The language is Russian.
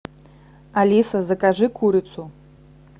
алиса закажи курицу